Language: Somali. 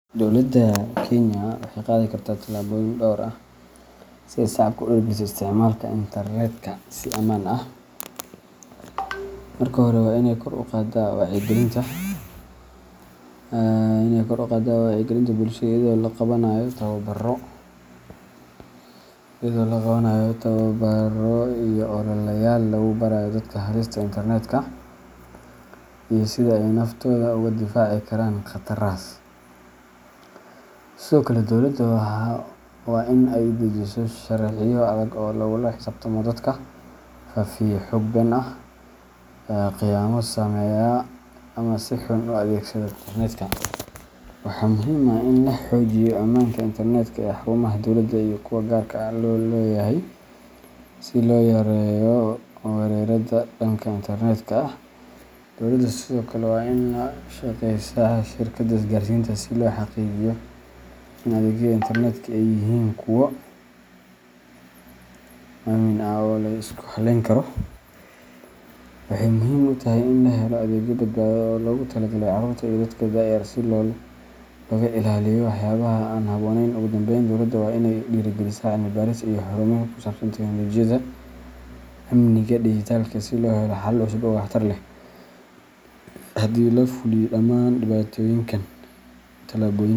Dowladda Kenya waxay qaadi kartaa tallaabooyin dhowr ah si ay shacabka ugu dhiirrigeliso isticmaalka internetka si ammaan ah. Marka hore, waa inay kor u qaaddaa wacyigelinta bulshada iyadoo la qabanayo tababbarro iyo ololayaal lagu barayo dadka halista internetka iyo sida ay naftooda uga difaaci karaan khatarahaas. Sidoo kale, dowladda waa in ay dejisaa sharciyo adag oo lagula xisaabtamo dadka faafiya xog been ah, khiyaamo sameeya, ama si xun u adeegsada internetka. Waxaa muhiim ah in la xoojiyo ammaanka internetka ee xarumaha dowladda iyo kuwa gaarka loo leeyahay si loo yareeyo weerarrada dhanka internetka ah. Dowladda sidoo kale waa in ay la shaqeysaa shirkadaha isgaarsiinta si loo xaqiijiyo in adeegyada internetka ay yihiin kuwo aamin ah oo la isku halleyn karo. Waxay muhiim u tahay in la helo adeegyo badbaado leh oo loogu talagalay carruurta iyo dadka da’da yar si looga ilaaliyo waxyaabaha aan habboonayn. Ugu dambeyn, dowladda waa inay dhiirrigelisaa cilmi-baaris iyo horumarin ku saabsan teknoolajiyadda amniga dhijitaalka ah si loo helo xalal cusub oo waxtar leh. Haddii la fuliyo dhammaan tallaabooyinkan,.